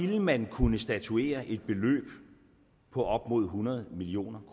vil man kunne statuere et beløb på op mod hundrede million